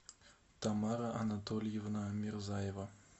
тамара анатольевна мирзаева